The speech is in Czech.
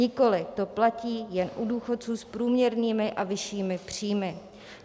Nikoliv, to platí jen u důchodců s průměrnými a vyššími příjmy.